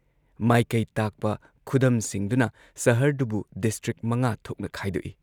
ꯃꯥꯏꯀꯩ ꯇꯥꯛꯄ ꯈꯨꯗꯝꯁꯤꯡꯗꯨꯅ ꯁꯍꯔꯗꯨꯕꯨ ꯗꯤꯁꯇ꯭ꯔꯤꯛ ꯃꯉꯥ ꯊꯣꯛꯅ ꯈꯥꯏꯗꯣꯛꯏ ꯫